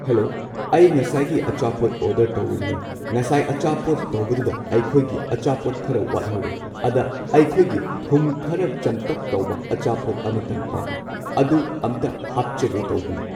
Hello, ꯑꯩ ꯉꯁꯥꯏꯒꯤ ꯑꯆꯥꯄꯣꯠ ꯑꯣꯔꯗꯔ ꯇꯧꯕꯗꯨꯅꯦ ꯉꯁꯥꯏ ꯑꯆꯥꯄꯣꯠ ꯇꯧꯕꯗꯨꯗ ꯑꯩꯈꯣꯏꯒꯤ ꯑꯆꯥꯄꯣꯠ ꯈꯔ ꯋꯥꯠꯍꯧꯔꯦ ꯑꯗ ꯑꯩꯈꯣꯏꯒꯤ ꯊꯨꯝ ꯈꯔ ꯆꯝꯇꯛ ꯇꯧꯕ ꯑꯆꯥꯄꯣꯠ ꯑꯃꯇꯪ ꯄꯥꯝꯃꯤ ꯑꯗꯨ ꯑꯝꯇ ꯍꯥꯞꯆꯒꯦ ꯇꯧꯕꯅꯤ꯫